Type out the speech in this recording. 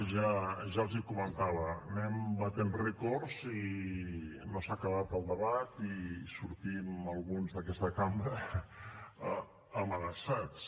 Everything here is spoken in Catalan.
ja els ho comentava anem batent rècords i no s’ha acabat el debat i sortim alguns d’aquesta cambra amenaçats